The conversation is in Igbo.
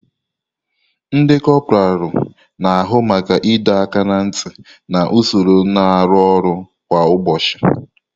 Ndi kopuralu na-ahụ maka ịdọ aka ná ntị na usoro na arụ ọrụ kwa ụbọchị.